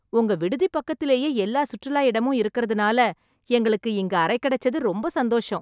உங்க விடுதி பக்கத்துலயே எல்லா சுற்றுலா இடமும் இருக்கறதுனால எங்களுக்கு இங்க அறை கிடைச்சது ரொம்ப சந்தோசம்.